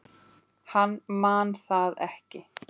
Hann man það ekki.